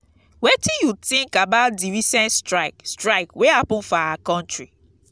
wetin you think about di recent strike strike wey happen for our country?